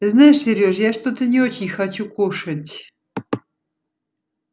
знаешь сереж я что-то не очень хочу кушать